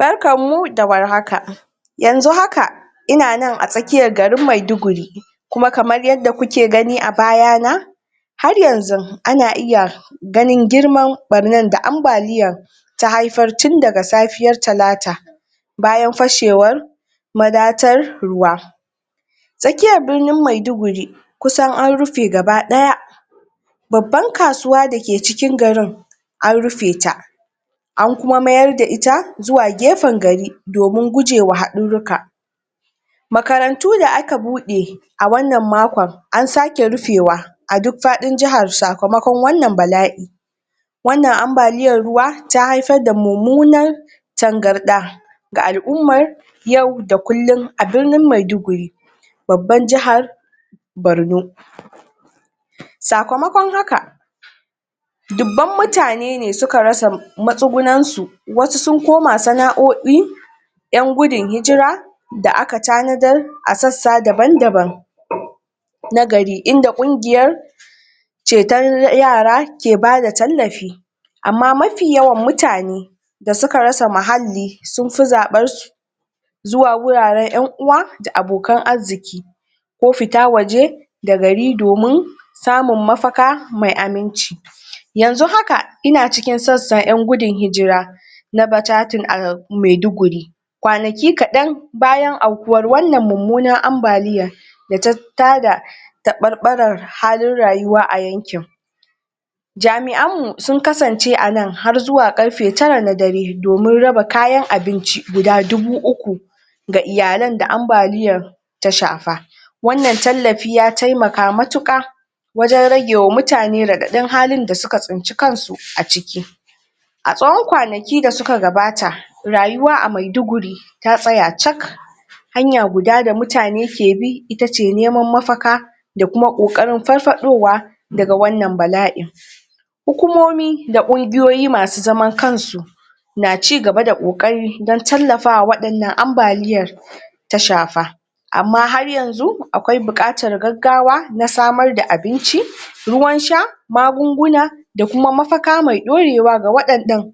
barkan mu da warhaka yanzu haka ina nan a tsakiyar garin maiduguri kuma kamar yadda kuke gani a bayana haryanzu ana iya ganin girman barnan da ambaliyar ta haifar tun daga safiyar talata bayan fashewar ma datsar ruwa tsakiyar birnin maiduguri kusan anrufe gaba daya babbar kasuwa dake cikin garin an rufeta an kuma mayar da ita zuwa gefen gari domin gujewa hadurruka makarantu da aka bude a wannan makon an sake rufewa a duk fadin jihar sakamakon wannan bala'in wannan ambaliyar ruwa ta haifar da mummunar tangarda ga al'ummar yau da kullum a birnin maiguduri babbar jihar borno sakamakon haka duban mutane suka rasa matsugunan su wasu sun koma sana'o'i yan gudun hijira da aka tanadar a sassa daban daban na gari inda kungiyar ceton yara ke bada tallafi amma mafi yawan mutane da suka rasa muhalli sunfi zaban zuwa guraren yan uwa da abokan arziki ko fita waje da gari domin samun mafaka mai aminci yanzu haka ina cikin sassa yan gudun hijira laba jajin a maiduguri kwanaki kadan bayan aukuwar wannan mummunar ambaliyar da tafi tada tabarbaran halin rayuwa a yankin jami'an sun kasan ce anan har karfe tara na dare don raba kayan abinci guda dubu uku ga iyalan da ambaliyar ta shafa wannan tallafi ya temaka matuka wajen rage wa mutane radadin halin da suka tsinci kansu aciki a tsawon kwanaki da suka gabata rayuwa a maiduguri ya tsaya cak hanya guda da mutane ke bi itace naman mafaka da kuma kokarin farfadowa daga wannan bala'i hukumomi da kungiyoyi masu zaman kansu na cigaba da kokari don tallafawa wannan abaliyar da ta shafa amma haryanzu akwai bukatar gaggawa na samar da abinci ruwan sha magunguna da kuma mafaka mai dorewa ga wadannan